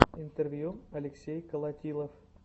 интервью алексей колотилов